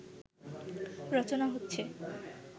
রচনা হচ্ছে